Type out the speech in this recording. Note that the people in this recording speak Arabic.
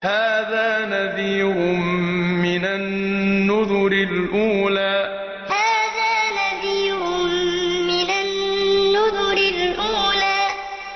هَٰذَا نَذِيرٌ مِّنَ النُّذُرِ الْأُولَىٰ هَٰذَا نَذِيرٌ مِّنَ النُّذُرِ الْأُولَىٰ